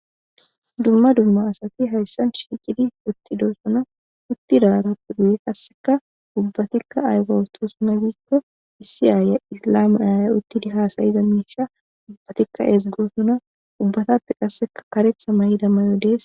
Dumma dumma asati hayssan shiiqidi uttidoo suna uttidaarappe duyi qasseka ubbatikka ayga wutosuna giikko issi aaye islame ayaya uttidi haasayiza miisha ubbatikka eesgoosuna ubbatappe qasseka karetha may'ida mayo dees.